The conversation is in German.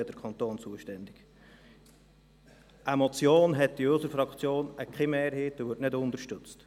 Eine Motion findet in unserer Fraktion keine Mehrheit und wird nicht unterstützt.